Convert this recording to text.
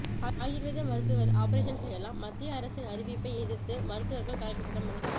ஆயர்வேத மருத்துவர் ஆபரஷேன் செய்யலாம் மத்திய அரசின் அறிவிப்பை எதிர்த்து மருத்துவர்கள் கலெக்டரிடம் மனு